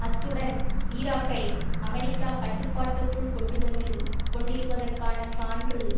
அத்துடன் ஈராக்கை அமெரிக்கா கட்டுப்பாட்டுக்குள் கொண்டுவந்து கொண்டிருப்பதற்கான சான்று